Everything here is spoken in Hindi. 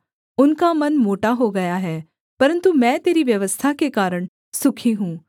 उनका मन मोटा हो गया है परन्तु मैं तेरी व्यवस्था के कारण सुखी हूँ